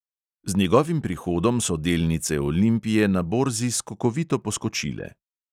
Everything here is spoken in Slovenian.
Z njegovim prihodom so delnice olimpije na borzi skokovito poskočile.